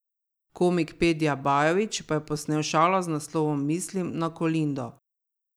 Komik Pedja Bajović pa je posnel šalo z naslovom Mislim na Kolindo.